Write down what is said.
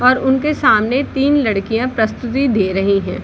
और उनके सामने तीन लड़कियां प्रस्तुति दे रही है।